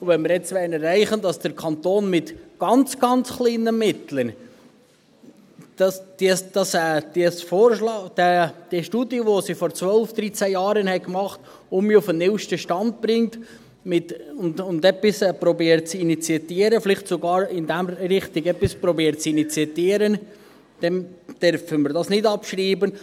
Wenn wir jetzt erreichen wollen, dass der Kanton mit ganz, ganz kleinen Mitteln die Studie, die man vor 12 oder 13 Jahren gemacht hat, wieder auf den neusten Stand bringt und versucht, etwas zu initiieren – vielleicht sogar, indem man richtig versucht, etwas zu initiieren –, dann dürfen wir dies nicht abschreiben.